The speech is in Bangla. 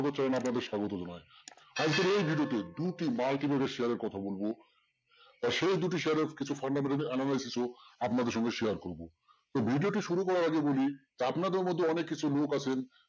channel আপনাদের স্বাগত জানাই আজকের এই video তে দুটি multimedia share এর কথা বলবো আর সেই দুটি share এর কিছু fundamental analysis ও আপনাদের সাথে share করবো তো video টি শুরু করার আগে বলি আপনাদের মধ্যে অনেক কিছু লোক আছেন